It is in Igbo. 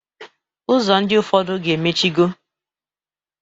Ụzọ ndị ụfọdụ ga-emichigo.